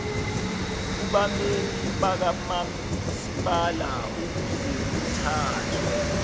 kubameli bakamasipala ukuzekuthathwe